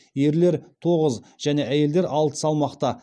ерлер тоғыз және әйелдер алты салмақта